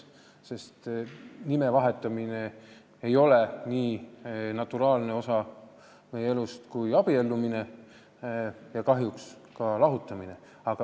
Nime vahetamine ei ole nii naturaalne osa meie elust kui abiellumine ja kahjuks ka lahutamine.